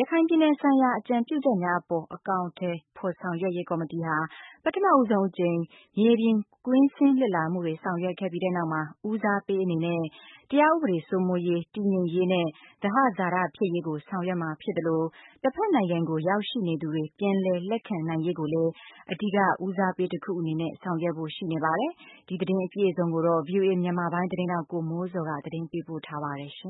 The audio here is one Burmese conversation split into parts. ရခိုင်ပြည်နယ်ဆိုင်ရာ အကြံပြုချက်များအပေါ် အကောင်အထည်ဖော်ဆောင်ရွက်ရေးကော်မတီဟာ ပထမဆုံး အကြိမ် မြေပြင် ကွင်းဆင်းလေ့လာမှုတွေဆောင်ရွက်ပြီးတဲ့နောက်မှာ ဦးစားပေးအနေနဲ့ တရားဥပဒေစိုးမိုးရေး၊ တည်ငြိမ်ရေးနဲ့ သဟဇာတဖြစ်ရေးကို ဆောင်ရွက်မှာဖြစ်သလို တဖက်နိုင်ငံကို ရောက်ရှိနေသူတွေ ပြန်လည်လက်ခံရေးကိုလည်း အဓိက ဦးစားပေးတခုအနေနဲ့ ဆောင်ရွက်ဖို့ ရှိနေပါတယ်။ ဒီသတင်းကိုတော့ ဗွီအိုအေမြန်မာပိုင်းရဲ့သတင်းထောက် ကိုမိုးဇော်က တင်ပြထားပါတယ်။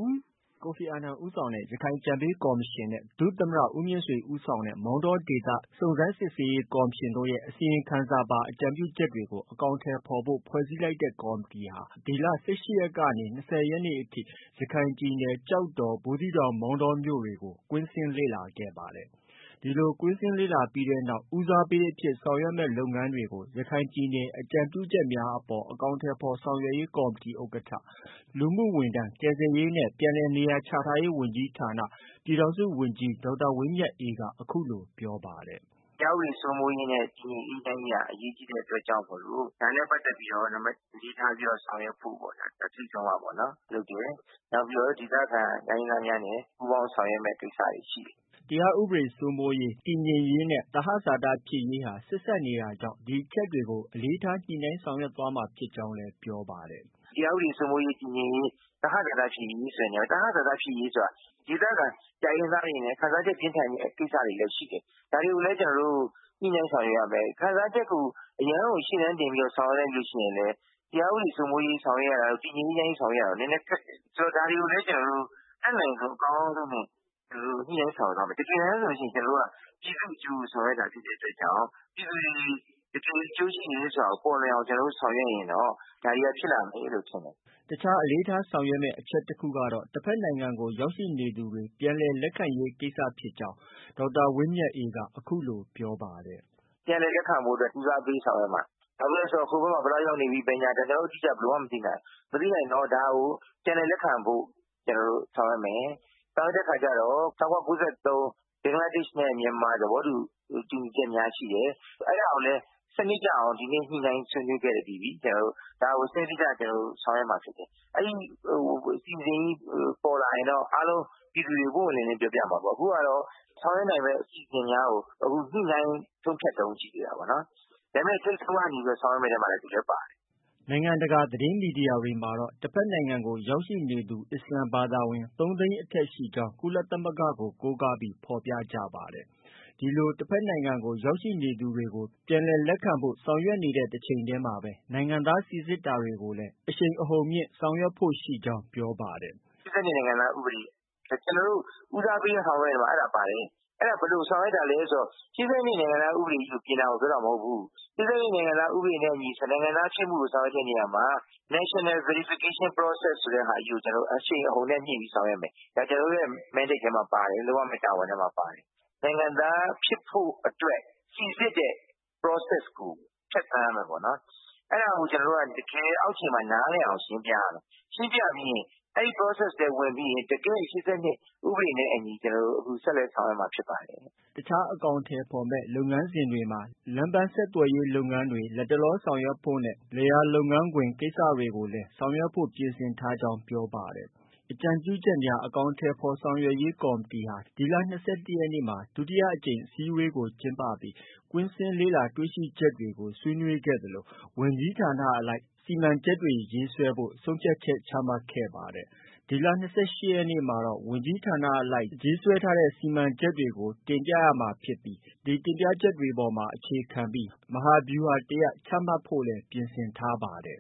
ကိုဖီအာနန် ဦးဆောင်တဲ့ ရခိုင်အကြံပေးကော်မရှင်နဲ့ ဒုသမ္မတ ဦးမြင့်ဆွေ ဦးဆောင်တဲ့ မောင်တော ဒေသ စုံစမ်းစစ်ဆေးရေး ကော်မရှင်တို့ရဲ့ အစီရင်ခံစာပါ အကြံပြုချက်တွေကို အကောင်အထည်ဖော်ဖို့ ဖွဲ့စည်းလိုက်တဲ့ ကော်မတီဟာ ဒီလ ၁၈ရက်နဲ့ ၂၀ရက်နေ့တွေမှာ ရခိုင်ပြည်နယ် ကျောက်တော်၊ ဘူးသီးတောင်၊ မောင်တောမြို့တွေကို ကွင်းဆင်းလေ့လာခဲ့ပါတယ်။ ဒီလိုကွင်းဆင်းလေ့လာပြီးနောက် ဦးစားပေးအဖြစ် ဆောင်ရွက်မယ့် လုပ်ငန်းတွေကို ရခိုင်ပြည်နယ်ဆိုင်ရာ အကြံပြုချက်များအပေါ် အကောင်အထည်ဖော်ဆောင် ရွက်ရေးကော်မတီဥက္ကဌ လူမှုဝန်ထမ်း၊ ကယ်ဆယ်ရေးနဲ့ ပြန်လည်နေရာချထားရေး ဝန်ကြီးဌာန ပြည်ထောင်စုဝန်ကြီး ဒေါက်တာဝင်းမြတ်အေးက အခုလို ပြောပါတယ်။ “တရားဥပဒေစိုးမိုးရေးနဲ့ တည်ငြိမ်အေးချမ်းရေးက အရေးကြီးတဲ့အတွက်ကြောင့်မို့ ဒါနဲ့ပတ်သက်ပြီးတော့ နံပတ်၁ အလေးထားဆောင်ရွက်ဖို့ပေါ့ဗျာ။ ထိပ်ဆုံးကပေါ့ဗျာ လုပ်တယ်။ နောက်ပြီးတော့ ဒေသခံတိုင်းရင်းသား များနဲ့ ပူးပေါင်းဆောင်ရွက်ရမယ့် ကိစ္စတွေရှိတယ်။ ” တရားဥပဒေစိုးမိုးရေး၊ တည်ငြိမ်ရေးနဲ့ သဟဇာတဖြစ်ရေးဟာ ဆက်စပ်နေတာကြောင့် ဒီအချက်တွေကို အလေးထားညှိနှိုင်းဆောင်ရွက်မှာဖြစ်ကြောင်းလည်း ပြောပါတယ်။ “တရားဥပဒေစိုးမိုးရေး၊ တည်ငြိမ်ရေးနဲ့ သဟဇာတဖြစ်ရေးဆိုတဲ့နေရာမှာ သဟဇာတဖြစ်ရေးဆိုတာ ဒေသခံ တိုင်းရင်းသားတွေအနေနဲ့ ခံစားချက်ပြင်းထန်တဲ့ ကိစ္စတွေလည်း ရှိတယ်။ ဒါတွေကိုလည်း ကျနော်တို့ ညှိနှိုင်း ဆောင်ရွက်ရမယ်။ ခံစားချက်ကို အရမ်းကို ရှေ့တန်းတင်ပြီးဆောင်ရွက်လိုက်ရင်လည်း တရားဥပဒေ စိုးမိုးရေး ဆောင်ရွက်ရတာတို့၊ တည်ငြိမ်အေးချမ်းရေးဆောင်ရွက်ရတာတို့နည်းနည်းခက်တယ်။ ဒါတွေကိုလည်း ကျနော် တို့အတတ်နိုင်ဆုံးအကောင်းဆုံးနဲ့ ညှိနှိုင်းဆောင်ရွက်သွားမယ်။ တကယ်တမ်းဆိုရင် ကျနေ်ာတို့က ပြည်သူ့ အကျိုးကို ဆောင်ရွက်တာဖြစ်တဲ့အတွက်ကြောင့် ပြည်သူတွေ တကယ်အကျိုးရှိတာကို ပေါ်လွင်အောင် ဆောင် ရွက်ရင်တော့ ဒါတွေက ဖြစ်လာမယ်လို့ ထင်တယ်။” အခြားအလေးထားဆောင်ရွက်မယ့် အချက်တခုကတော့ တဖက်နိုင်ငံကို ရောက်ရှိနေသူတွေ ပြန်လည် လက်ခံရေး ကိစ္စရပ်ဖြစ်ကြောင်းလည်း ဒေါက်တာဝင်းမြတ်အေးက အခုလို ပြောပါတယ်။ “ ပြန်လည်လက်ခံဖို့အတွက် ဦးစားပေးဆောင်ရွက်မှာ။ ဘာဖြစ်လို့လည်းဆိုတော့ ဟိုဖက်မှာ ဘယ်လောက် ရောက်နေပြီ ဘာညာ ကျနော်တို့ ဘယ်လိုမှ မသိနိုင်ဘူး။ မသိနိုင်တော့ ဒါကို ပြန်လည်လက်ခံဖို့ ဆောင်ရွက် မယ်။ ဆောင်ရွက်တဲ့အခါကျတော့ ၁၉၉၃ ဘင်္ဂလားဒေ့ရှ်နဲ့ မြန်မာ သဘောတူညီချက်များရှိတယ်။အဲဒါကိုလည်း စနစ်ကျအောင် ဒီကနေ့ ကျနော်တို့ ညှိနှိုင်းဆွေးနွေးခဲ့ပြီးပြီ။ ဒါကို စနစ်တကျဆောင်ရွက်မှာဖြစ်တယ်။ အဲဒီအစီအစဉ်ကြီးပေါ်လာရင်တော့ ပြည်သူတွေကို ပွင့်ပွင့်လင်းလင်းပြောပြမှာပေါ့။ အခုဟာတော့ ဆောင်ရွက် နိုင်မယ့် အစီအစဉ်များကို အခု ညှိနှိုင်းဆုံးဖြတ်တုံး ရှိသေးတာပေါ့နော်။ ဒါပေမဲ့ ထိပ်ဆုံးကနေ ဆောင်ရွက်မယ့် အထဲမှာ သူလည်း ပါတယ်။ ” နိုင်ငံတကာသတင်းမီဒီယာတွေမှာတော့ တဖက်နိုင်ငံကို ရောက်ရှိနေတဲ့ အစ္စလာမ်ဘာသာဝင် ၃သိန်းအထက်ရှိကြောင်း ကုလသမဂကို ကိုးကားပြီးဖော်ပြကြပါတယ်။ တဖက်နိုင်ငံကို ရောက်ရှိနေသူတွေကို ပြန်လည်လက်ခံဖို့ ဆောင်ရွက်နေတဲ့ တချိန်တည်းမှာပဲ နိုင်ငံသားစိစစ်တာကို အရှိန်အဟုန်မြှင့်ဆောင်ရွက်ဖို့ ရှိကြောင်း ပြောပါတယ်။ “ ၈၂နိုင်ငံသားဥပဒေ။ ကျနော်တို့ ဦးစားပေးဆောင်ရွက်တဲ့အထဲမှာ အဲဒါပါတယ်။ ဘယ်လိုဆောင်ရွက်တာလဲဆိုတော့ ၈၂နိုင်ငံသားဥပဒေကို ပြင်တာကို ပြောတာမဟုတ်ဘူး။ ၈၂နိုင်ငံသားဥပဒေနဲ့အညီ နိုင်ငံသားဖြစ်မှုကို အကောင်အထည်ဖော်တဲ့နေရာမှာ National Verification Precess ဆိုတာကို အရှိန်အဟုန်နဲ့ မြှင့်ပြီးဆောင်ရွက်မယ်။ ဒါကျနော်တို့ရဲ့ Mandate ထဲမှာ ပါတယ်။ လုပ်ရမယ့် တာဝန်ထဲမှာ ပါတယ်။ နိုင်ငံသားဖြစ်ဖို့ အတွက် စိစစ်တဲ့ process ကို ဖြတ်သန်းရမယ်ပေါ့နော်။ အဲဒါကို ကျနော်တို့က တကယ်အောက်ခြေမှာ နားလည်အောင်ရှင်းပြရမယ်။ ရှင်းပြပြီးရင် အဲဒီ process ထဲမှာ ဝင်ပြီးရင် တကယ့် ၈၂ ဥပဒေနဲ့ အညီ ဆက်လက် ဆောင်ရွက်မှာဖြစ်ပါတယ်။ ” တခြားအကောင်အထည်ဖော်မယ့် လုပ်ငန်းစဉ်တွေမှာလမ်းပန်းဆက်သွယ်ရေးကို လတ်တလောဆောင်ရွက်ဖို့နဲ့ လယ်ယာလုပ်ငန်းခွင်ကိစ္စတွေကိုလည်း ဆောင်ရွက်ဖု့ိပြင်ဆင်ထားကြောင်း ပြောပါတယ်။ အကြံပြုချက်များ အကောင်အထည်ဖော်ဆောင်ရွက်ရေးကော်မတီဟာ ဒီလ ၂၁ရက်နေ့မှာ ဒုတိယအကြိမ် အစည်းအဝေးကို ကျင်းပခဲ့ပြီး ကွင်းဆင်းလေ့လာတွေ့ရှိချက်တွေကို ဆွေးနွေးခဲ့ကြသလို ဝန်ကြီးဌာနအလိုက် စီမံချက်တွေ ရေးဆွဲဖို့ ဆုံးဖြတ်ချက် ချမှတ်ခဲ့ကြပါတယ်။ ဒီလ ၂၈ရက်နေ့မှာတော့ ဝန်ကြီးဌာနအလိုက် ရေးဆွဲထားတဲ့ စီမံချက်တွေအပေါ် အခြေခံပြီး မဟာဗျူဟာတရပ်ချမှတ်သွားဖို့လည်း ပြင်ဆင်ထားပါတယ်။